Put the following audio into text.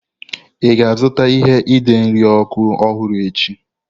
Ị ga-azụta ihe ide nri ọkụ ọhụrụ echi?